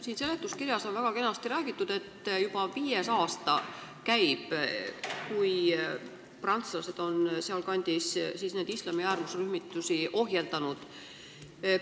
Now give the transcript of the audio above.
Siin seletuskirjas on väga kenasti räägitud, et juba viies aasta käib, kui prantslased on sealkandis islami äärmusrühmitusi ohjeldanud.